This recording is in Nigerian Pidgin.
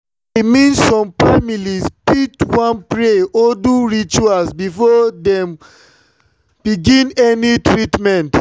i mean some families fit wan pray or do rituals before dem begin any treatment.